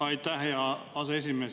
Aitäh, hea aseesimees!